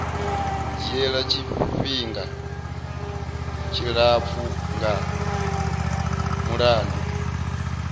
dzhiela tshifhinga tshilapfu nga mulandu